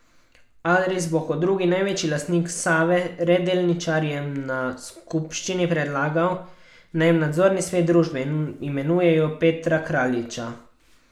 Adris bo kot drugi največji lastnik Save Re delničarjem na skupščini predlagal, naj v nadzorni svet družbe imenujejo Petra Kraljiča.